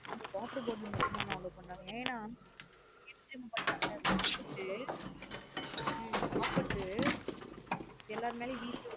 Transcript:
அங்க water bottle மட்டும் தான் நா allow பண்றாங்க என்னா என்ன பண்றாங்க தெர்யும சாப்ட்டு உம் சாப்ட்டு எல்லார் மேல்ளையும் வீசிட்டு.